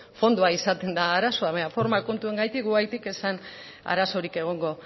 fondoa izaten da arazoa baina forma kontuengatik guregatik ez zen arazorik egongo